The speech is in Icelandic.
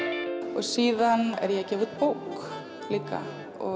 og síðan er ég að gefa út bók líka